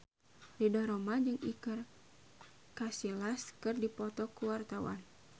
Ridho Roma jeung Iker Casillas keur dipoto ku wartawan